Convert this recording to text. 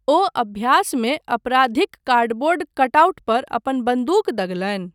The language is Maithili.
ओ अभ्यासमे अपराधिक कार्डबोर्ड कटआउट पर अपन बन्दूक दगलनि।